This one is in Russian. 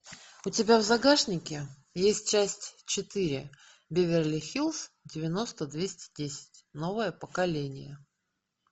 у тебя в загашнике есть часть четыре беверли хиллз девяносто двести десять новое поколение